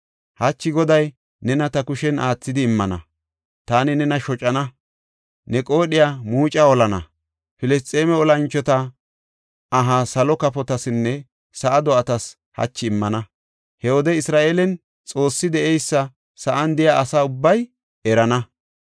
Hachi Goday nena ta kushen aathidi immana; taani nena shocana; ne qoodhiya muuca holana. Filisxeeme olanchota aha salo kafotasinne sa7a do7atas hachi immana. He wode Isra7eelen Xoossi de7eysa sa7an de7iya asa ubbay erana.